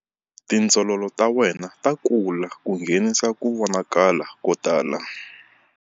Tindzololo ta wena ta kula ku nghenisa ku vonakala ko tala.